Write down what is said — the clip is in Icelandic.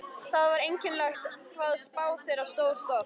Það var einkennilegt hvað spá þeirra stóðst oft.